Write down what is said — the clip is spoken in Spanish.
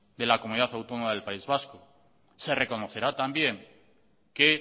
de la comunidad autónoma del país vasco se reconocerá también que